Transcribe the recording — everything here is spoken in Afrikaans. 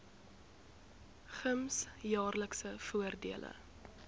gems jaarlikse voordele